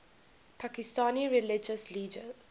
pakistani religious leaders